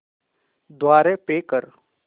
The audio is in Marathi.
द्वारे पे कर